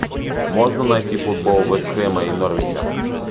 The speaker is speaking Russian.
можно найти футбол вест хэма и норвича